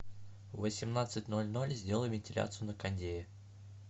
в восемнадцать ноль ноль сделай вентиляцию на кондее